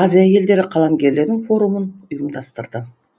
азия елдері қаламгерлерінің форумын ұйымдастырды